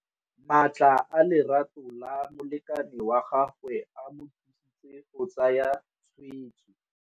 Matla a lerato la molekane wa gagwe a mo thusitse go tsaya tshweêtsô.